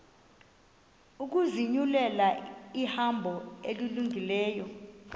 ukuzinyulela ihambo elungileyo